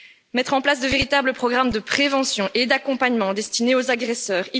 mettre en place de véritables programmes de prévention et d'accompagnement destinés aux agresseurs